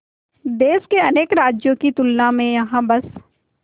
देश के अनेक राज्यों की तुलना में यहाँ बस